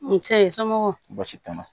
N cɛ ye somɔgɔ baasi t'a la